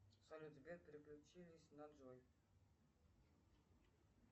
салют сбер переключились на джой